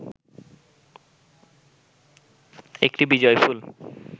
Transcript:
একটি বিজয়ফুল